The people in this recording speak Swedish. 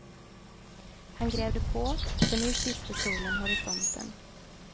Han grävde på, för nu kysste solen horisonten.